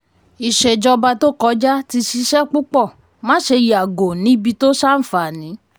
ìṣèjọba tó kọjá ti ṣiṣẹ́ púpọ̀ máṣe yàgò níbi tó ṣàǹfààní.